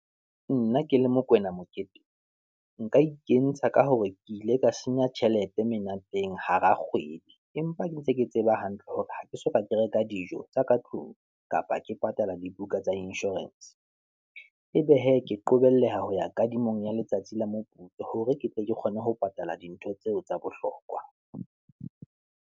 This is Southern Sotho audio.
Nna ke le Mokoena Mokete, nka ikentsha ka hore ke ile ka senya tjhelete menateng hara kgwedi, empa ke ntse ke tseba hantle hore ha ke soka ke reka dijo tsa katlung, kapa ke patala dibuka tsa inshorense. Ebe hee, ke qobelleha ho ya kadimo ya letsatsi la moputso, hore ke tle ke kgone ho patala dintho tseo tsa bohlokwa.